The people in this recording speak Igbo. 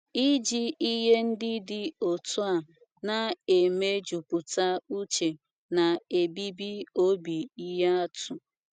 Iji ihe ndị dị otú ahụ na - emejupụta uche na - ebibi obi ihe atụ.